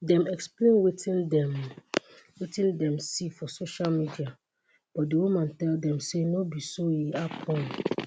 dem explain wetin dem wetin dem see for social media but di woman tell dem say no be so e happun